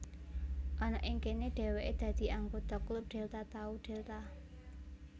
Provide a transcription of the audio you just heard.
Ana ing kene dheweke dadi anggota klub Delta Tau Delta